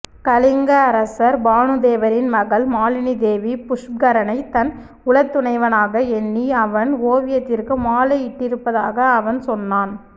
கலிங்க அரசர் பானுதேவரின் மகள் மாலினிதேவி புஷ்கரனை தன் உளத்துணைவனாக எண்ணி அவன் ஓவியத்திற்கு மாலையிட்டிருப்பதாக அவன் சொன்னான்